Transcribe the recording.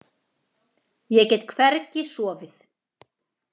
Ég get hvergi sofið.